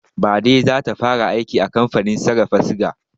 Baɗi zata fara aiki a kamfanin sarrafa suga